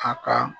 A ka